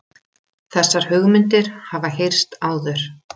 Þessar hugmyndir hafa heyrst áður